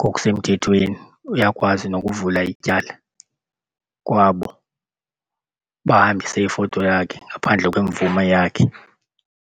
ngokusemthethweni uyakwazi nokuvula ityala kwabo bahambise ifoto yakhe ngaphandle kwemvume yakhe.